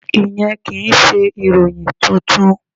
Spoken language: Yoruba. Ìyẹn kì í ṣe ìròyìn tuntun.